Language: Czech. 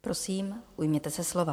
Prosím, ujměte se slova.